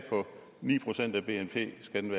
at den